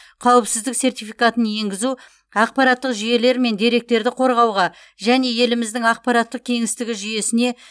қауіпсіздік сертификатын енгізу ақпараттық жүйелер мен деректерді қорғауға және еліміздің ақпараттық кеңістігі жүйесіне